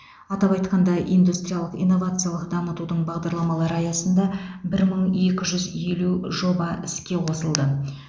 атап айтқанда индустриялық инновациялық дамытудың бағдарламалары аясында бір мың екі жүз елу жоба іске қосылды